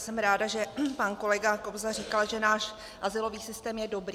Jsem ráda, že pan kolega Kobza říkal, že náš azylový systém je dobrý.